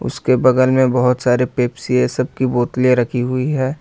इसके बगल में बहुत सारी पेप्सी है सब की बोतलें रखी हुई है।